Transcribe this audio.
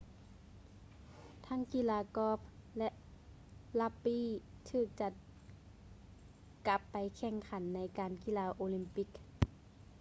ທັງກິລາກ໊ອບ ແລະ ຣັກບີ້ ຖືກຈັດກັບໄປແຂ່ງຂັນໃນງານກິລາໂອລິມປິກ